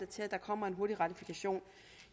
til at der kommer en hurtig ratifikation